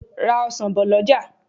Ra ọsan bò lọjà.